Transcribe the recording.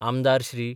आमदार श्री.